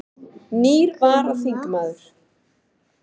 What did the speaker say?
Nýr varaþingmaður